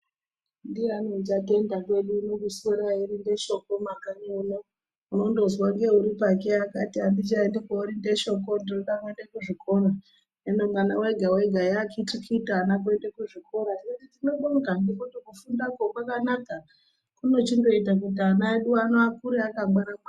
Ndiyani achaenda korinde shoko kumakanyi uno unondozwa ngeuripake akati andichaendi korinde shoko ndinode kuenda kuzvikora hino mwana vega vega yaakiti kiti kuenda kuzvikora. Tinobonga ngekuti kufundakwo kwakanaka kunochindoita kuti ana edu ano akure akangwara ngwara.